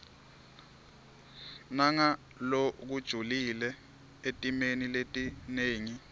nangalokujulile etimeni letinengi